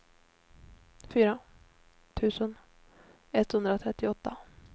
fyra tusen etthundratrettioåtta